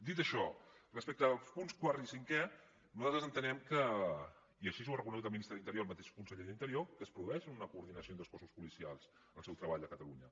dit això respecte dels punts quart i cinquè nosaltres entenem i així ho ha reconegut el ministre de l’interior al mateix conseller d’interior que es produeix una coordinació entre els cossos policials en el seu treball a catalunya